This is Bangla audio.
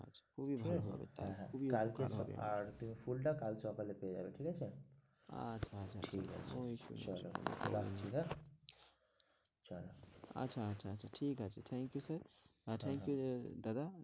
খুবই ভালো হবে তাহলো খুবই ভালো হবে হবে ঠিক আছে হ্যাঁ হ্যাঁ আর তুমি ফুলটা কালকে সকালে পেয়ে যাবে ঠিক আছে আচ্ছা আচ্ছা ঠিক আছে চলো রাখছি হ্যাঁ চলো আচ্ছা আচ্ছা ঠিক আছে thank you sir আর thank you দাদা,